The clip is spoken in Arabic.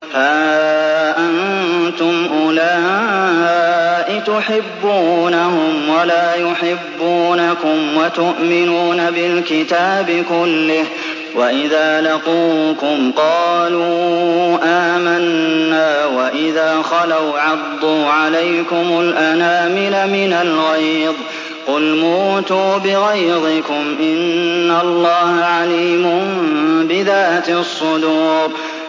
هَا أَنتُمْ أُولَاءِ تُحِبُّونَهُمْ وَلَا يُحِبُّونَكُمْ وَتُؤْمِنُونَ بِالْكِتَابِ كُلِّهِ وَإِذَا لَقُوكُمْ قَالُوا آمَنَّا وَإِذَا خَلَوْا عَضُّوا عَلَيْكُمُ الْأَنَامِلَ مِنَ الْغَيْظِ ۚ قُلْ مُوتُوا بِغَيْظِكُمْ ۗ إِنَّ اللَّهَ عَلِيمٌ بِذَاتِ الصُّدُورِ